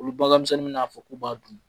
Olu bangemisɛnninw b'a fɔ k'u b'a dun